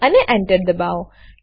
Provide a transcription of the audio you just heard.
અને Enter દબાવો